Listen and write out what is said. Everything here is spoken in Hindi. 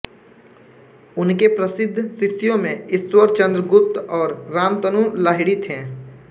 उनके प्रसिद्ध शिष्यों में ईश्वर चंद्र गुप्त और रामतनु लाहिड़ी थे